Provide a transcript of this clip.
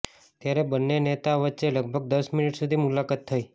ત્યારે બંને નેતા વચ્ચે લગભગ દસ મીનીટ સુધી મુલાકાત થઈ